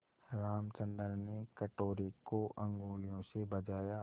रामचंद्र ने कटोरे को उँगलियों से बजाया